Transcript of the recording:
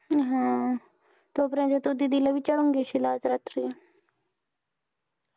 हम्म तोपर्यंत तू दीदी ला विचारून घेशील आज रात्री